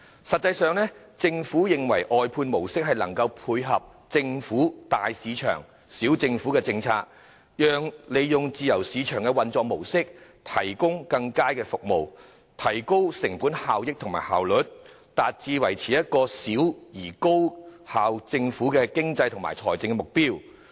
實際上，政府認為外判模式能配合其"大市場，小政府"的政策，利用自由市場的運作模式提供更佳服務，提高成本效益和效率，達致小政府、高效率的經濟和財政目標。